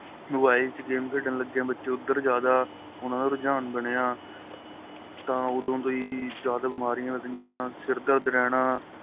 mobile ਚ game ਖੇਡਣ ਲੱਗੇ ਏ ਬੱਚੇ ਉੱਧਰ ਜਿਆਦਾ ਉਹਨਾ ਦਾ ਰੁਝਾਨ ਬਣਿਆ ਤਾਂ ਉਹਦੋ ਤੋ ਹੀ ਜਿਆਦਾ ਬਿਮਾਰੀਆ ਲੱਗਣੀਆ ਸਿਰ ਦਰਦ ਰਹਿਣਾ